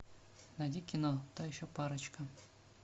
найди кино та еще парочка